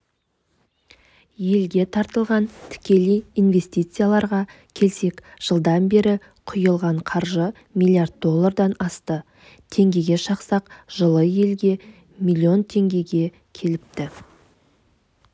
елге тартылған тікелей инвестицияларға келсек жылдан бері құйылған қаржы млрд доллардан асты теңгеге шақсақ жылы елге млн теңге келіпті